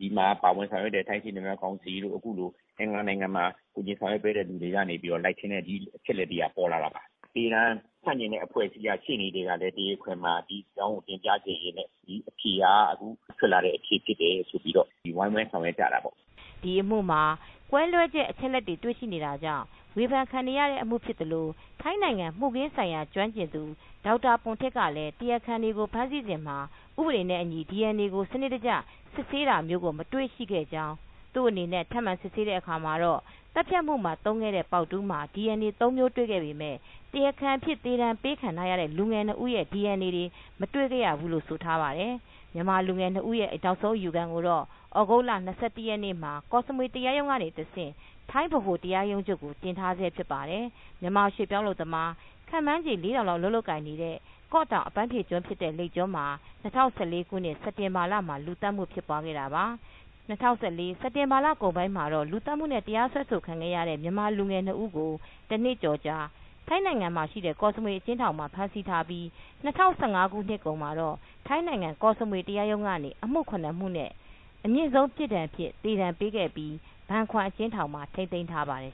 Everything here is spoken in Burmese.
ဒီမှာ ပါဝင်ဆောင်ရွက်တဲ့ ထိုင်းရှေ့နေများ ကောင်စီတို့ အခုလို အင်္ဂလန်နိုင်ငံမှာ ကူညီဆောင်ရွက် ပေးတဲ့ လူတွေကနေ လိုက်ရင်းနဲ့ ဒီအချက်အလက် တွေက ပေါ်လာတာပါ။ သေဒဏ် ဆန့်ကျင်တဲ့ အဖွဲ့အစည်းက ရှေ့နေကလည်း တရားခွင်မှာ ဒီအကြောင်းကို တင်ပြခဲ့ရင်းနဲ့ ဒီအဖြေက အခု ထွက်လာတဲ့ အဖြေဖြစ်တယ် ဆိုပြီးတော့ ဝိုင်းဝန်းဆောင်ရွက် ကြတာပေါ့။” ဒီအမူမှာ ကွဲလွဲချက် အချက်အလက်တွေ ရှိနေတာကြောင့် ဝေဖန်ခံနေရတဲ့ အမှု ဖြစ်သလို ထိုင်းနိုင်ငံ မှုခင်းဆိုင်ရာ ကျွမ်းကျင်သူ ဒေါက်တာ ပွန်ထစ် ကလည်း တရားခံတွေကို သူတို့ ဖမ်းဆီး စဉ်မှာ ဥပဒေနဲ့ အညီ ဒီအန်အေကို စနစ်တကျ စစ်ဆေးတာကို မတွေရှိခဲ့ကြောင်း၊ သူ့အနေနဲ့ ထပ်မံ စစ်ဆေးပြီးတဲ့ အခါမှာတော့ သတ်ဖြတ်မူမှာ သုံးခဲ့တဲ့ ပေါက်တူးမှာ ဒီအန်အေ ၃ မျိုး တွေခဲ့ပေမယ့် တရားခံအဖြစ် သေဒဏ် ပေးခံထားရတဲ့ လူငယ် ၂ ဦးရဲ့ဒီအန်အေတွေ မတွေခဲ့ရဘူးလို့ ဆိုပါတယ်။ မြန်မာလူငယ် ၂ ဦးရဲ့ နောက်ဆုံး အယူခံကို သြဂုတ်လ ၂၁ ရက်နေ့မှာ ကော့စမွေ တရားရုံးက တဆင့် ထိုင်းဗဟို တရားရုံးချုပ်ကို တင်ထားဆဲ ဖြစ်ပါတယ်။ မြန်မာရွှေ့ပြောင်း အလုပ်သမား ခန့်မှန်းချေ ၄,၀၀၀ လောက် အလုပ်လုပ်ကိုင်နေတဲ့ ကော့တောင် အပန်းဖြေ ကျွန်းဖြစ်တဲ့ လိပ်ကျွန်းမှာ ၂၀၁၄ ခုနှစ် စက်တင်ဘာလ မှာ လူသတ်မှု ဖြစ်ပွားခဲ့တာပါ။ ၂၀၁၄ ခုနှစ် စက်တင်ဘာ လကုန်ပိုင်းမှာတော့ လူသတ်မူနဲ့ တရားစွဲဆို ခံခဲ့ရတဲ့ မြန်မာလူငယ် ၂ ဦး ကိုတော့ တနှစ်ကျော်ကြာ ထိုင်းနိုင်ငံ ကော့စမွေ အကျဉ်းထောင်မှာ ဖမ်းဆီးထားပြီး ၂၀၁၅ ခုနှစ်ကုန်မှာထိုင်းနိုင်ငံ ကော့စမွေ တရားရုံးကနေ အမူ (၇) မှုနဲ့ အမြင့်ဆုံး ပြစ်ဒဏ်အဖြစ် သေဒဏ်ပေးခဲ့ပြီး ဘန်ခွမ် အကျဉ်းထောင်မှာ ထိမ်းသိမ်း ထားပါတယ်